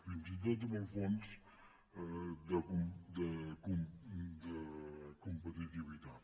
fins i tot amb el fons de competitivitat